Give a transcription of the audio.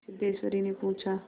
सिद्धेश्वरीने पूछा